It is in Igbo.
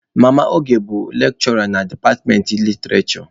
Mama Oge bụ lekshụra na departmentị literishure.